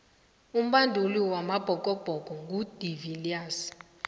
umbanduli wamabhokobhoko ngu de viliers